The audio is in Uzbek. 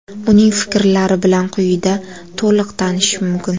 Uning fikrlari bilan quyida to‘liq tanishish mumkin.